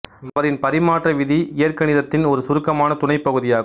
அவரின் பரிமாற்ற விதி இயற்கணிதத்தின் ஒரு சுருக்கமான துணை பகுதியாகும்